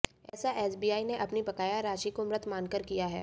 ऐसा एसबीआई ने अपनी बकाया राशि को मृत मानकर किया है